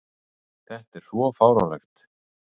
Þetta er svo fáránlegt.